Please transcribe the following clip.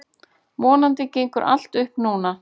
Vonandi gengur allt upp núna.